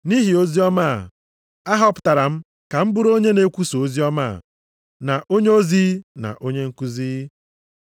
Nʼihi oziọma a, ahọpụtara m ka m bụrụ onye na-ekwusa oziọma a, na onyeozi, na onye nkuzi.